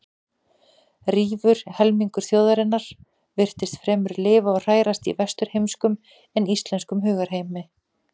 Rífur helmingur þjóðarinnar virtist fremur lifa og hrærast í vesturheimskum en íslenskum hugarheimi.